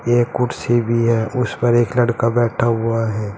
एक कुर्सी भी है उसे पर एक लड़का बैठा हुआ है।